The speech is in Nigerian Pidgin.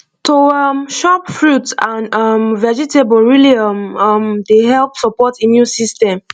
to um chop more fruit and um vegetable really um um dey help support immune system